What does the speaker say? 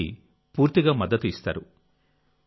అతనికి పూర్తిగా మద్దతు ఇస్తారు